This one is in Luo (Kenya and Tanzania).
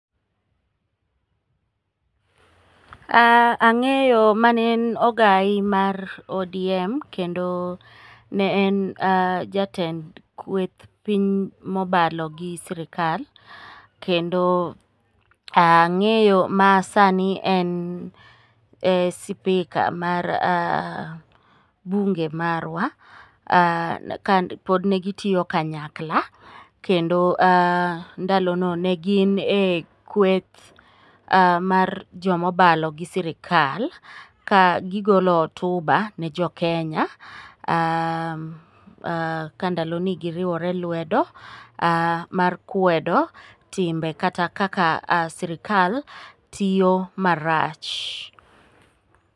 Ang'eyo manen ogai mar ODM kendo ne en jatend kweth piny mobalo gi sirikal, kendo ang'eyo ma sani en spika mar bunge marwa, kane pod gitiyo kanyakla kendo ndalono ne gin e kweth mar jomobalo gi sirikal ka gigolo hotuba ne jokenya, ka ndalogi giriwore lwedo mar kwedo timbe kata kaka sirikal tiyo marach.